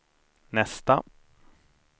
nästa